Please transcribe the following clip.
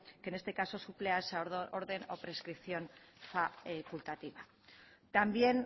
que en este caso suple a esa orden o prescripción facultativa también